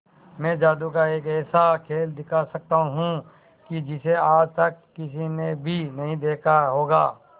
मैं जादू का एक ऐसा खेल दिखा सकता हूं कि जिसे आज तक किसी ने भी नहीं देखा होगा